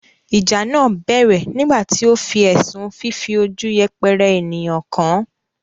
ìjà náà bẹ̀rẹ̀ nígbà tí ó fi ẹ̀sùn fífi ojú yẹpẹrẹ ènìyàn kàn án.